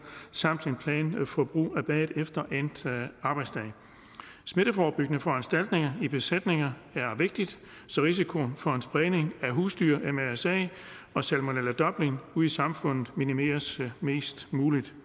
samt en plan for brug af bad efter endt arbejdsdag smitteforebyggende foranstaltninger i besætninger er vigtigt så risikoen for en spredning af husdyr mrsa og salmonella dublin ud i samfundet minimeres mest muligt